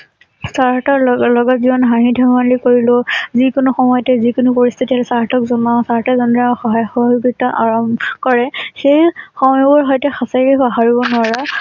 Sir তাৰ লগত লগত যিমান হাঁহি ধেমালি কৰিলোঁ । যি কোনো সময়তে যি কোনো পৰিস্থিতি চাৰ হতক জনাওঁ। চাৰ সতে যেনেদৰে সহায় সহযোগিতা আৰাম কৰে সেই সময়বোৰ শৈতে সঁচাকৈ পাহৰিব নোৱাৰা ।